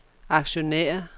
aktionærer